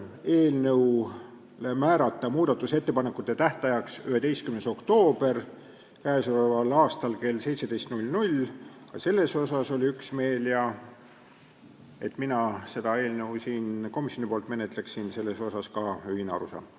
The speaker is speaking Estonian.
Eelnõu muudatusettepanekute esitamise tähtajaks võiks määrata 11. oktoobri k.a kell 17, ka selles oli üksmeel, ja et mina seda eelnõu siin komisjoni nimel menetleksin, ka selles oli ühine arusaam.